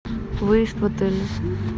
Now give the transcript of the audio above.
выезд в отеле